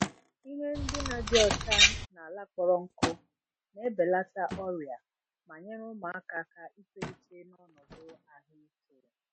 Ihe ndina dị ọcha na ala kpọrọ nkụ na-ebelata ọrịa ma nyere ụmụaka aka itolite n’ọnọdụ ahụike.